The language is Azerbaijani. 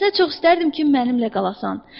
Əksinə çox istərdim ki mənimlə qalasan.